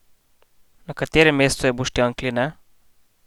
Na katerem mestu je Boštjan Kline?